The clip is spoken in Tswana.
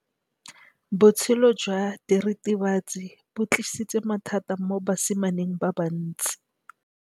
Botshelo jwa diritibatsi ke bo tlisitse mathata mo basimaneng ba bantsi.